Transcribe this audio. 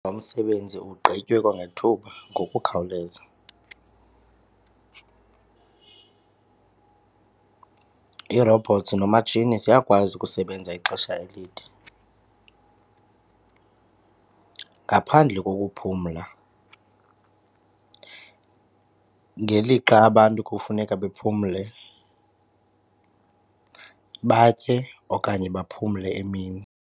Lo msebenzi ugqitywe kwangethuba ngokukhawuleza. Ii-robots noomatshini ziyakwazi ukusebenza ixesha elide ngaphandle kokuphumla ngelixa abantu kufuneka bephumle batye okanye baphumle emini.